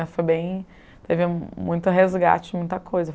foi bem... Teve muito resgate, muita coisa.